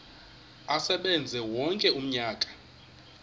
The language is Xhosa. asebenze wonke umnyaka